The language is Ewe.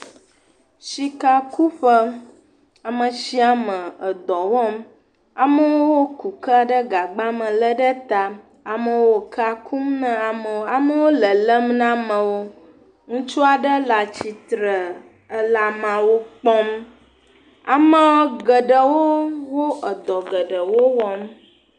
Sikakuƒe, ame sia ame edɔ wɔm, amewo ku ke ɖe gagba me lé ɖe ta, amewo kea kum na amewo, amewo lelém na amewo, ŋutsu aɖe le atsitre le ameawo kpɔm, ame geɖewo wo edɔ geɖewo wɔm.